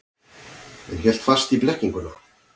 En hélt fast í blekkinguna.